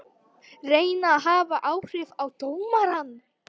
Reyna að hafa áhrif á dómarann